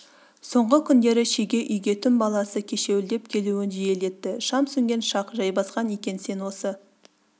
соңғы күндері шеге үйге түн баласы кешеуілдеп келуін жиілетті шам сөнген шақ жайбасқан екен сен осы